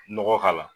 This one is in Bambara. Nɔgɔ k'a la